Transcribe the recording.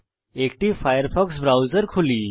একটি Firefox browser খুলি